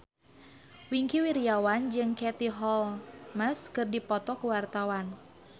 Wingky Wiryawan jeung Katie Holmes keur dipoto ku wartawan